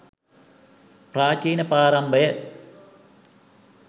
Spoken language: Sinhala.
ප්‍රාචීන ප්‍රාරම්භය,